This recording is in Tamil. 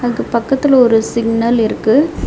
அதுக்கு பக்கத்துல ஒரு சிக்னல் இருக்கு.